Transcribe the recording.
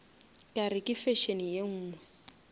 kare ke fashion ye nngwe